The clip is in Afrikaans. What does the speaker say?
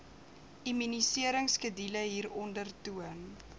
immuniseringskedule hieronder toon